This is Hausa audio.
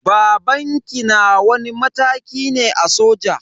Babanki na wani mataki ne a soja?